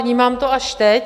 Vnímám to až teď.